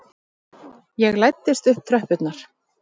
Ég læddist upp tröppurnar.